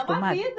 É uma vida.